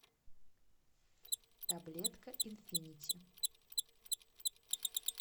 таблетка инфинити